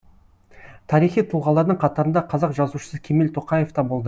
тарихи тұлғалардың қатарында қазақ жазушысы кемел тоқаев та болды